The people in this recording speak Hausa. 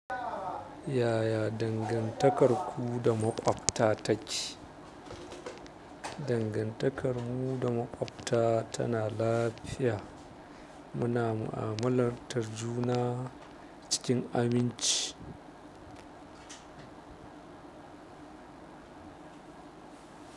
Yaya dangantakarku da maƙwabta take? Dangantakarmu da maƙwabta tana lafiya. Muna mu'amalar tar juna. Cikin aminci.